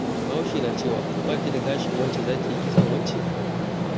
Bahaushe na cewa, 'ba ki da gashin wance za ki yi kitson wance?'